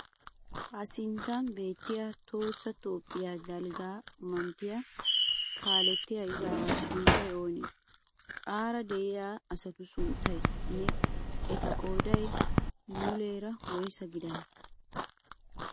Ha sinttan beettiyaa tohoossa Toophphiyaa dalgga manttiyaa kaalettiyaa ezawaa sunttayi oonee? Aara de'iyaa asatu sunttayinne eta qoodayi muumeera woyisa gidanee?